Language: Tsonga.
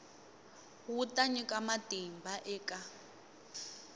wu ta nyika matimba eka